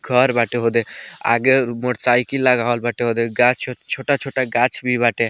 घर बाटे ओदे आगे मोटरसाइकिल लगावल बाटे ओदे गाछ छोटा-छोटा गाछ भी बाटे।